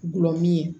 Gulɔmin